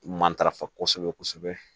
Matarafa kosɛbɛ kosɛbɛ